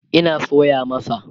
Ina soya masa